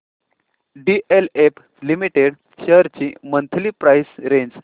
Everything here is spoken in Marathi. डीएलएफ लिमिटेड शेअर्स ची मंथली प्राइस रेंज